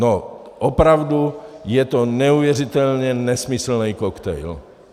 No, opravdu je to neuvěřitelně nesmyslný koktejl.